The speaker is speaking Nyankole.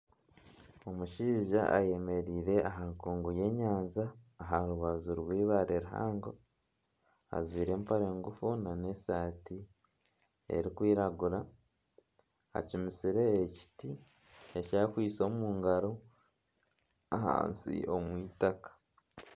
Omushaija ayemereire aha nkungu y'enyanja aha rubaju rw'eibaare rihango ajwaire empare ngufu nana esaati erikwiragura acumitsire ekiti eki akwaitse omu ngaro ahansi omu eitaka.